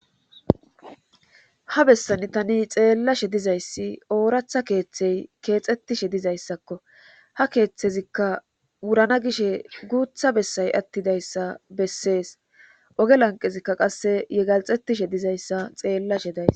ha bessani tani xeellashe dizayssi ooratha keeththey keexxettishe dizayssakko ha keeththezikka wurana gishe guutha bessay attidayssa bessees oge lanqezikka qasse ye galxettishe dizayssa xeellashe days